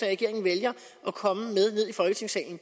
regeringen vælger at komme ned i folketingssalen